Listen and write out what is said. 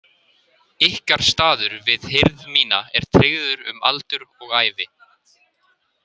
Ykkar staður við hirð mína er tryggður um aldur og ævi.